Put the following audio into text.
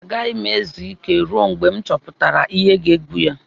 Agaghị m ezu ike ruo mgbe m chọpụtara ihe ga-egbu ya.